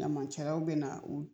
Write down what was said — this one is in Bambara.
Ɲamancɛraw bena u